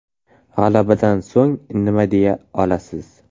G‘alabadan so‘ng nima deya olasiz?